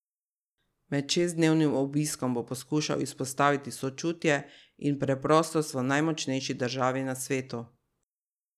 Med šestdnevnim obiskom bo poskušal izpostaviti sočutje in preprostost v najmočnejši državi na svetu.